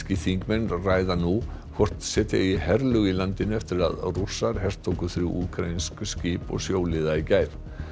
þingmenn ræða nú hvort setja eigi herlög í landinu eftir að Rússar hertóku þrjú úkraínsk skip og sjóliða í gær